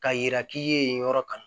Ka yira k'i ye yen yɔrɔ kan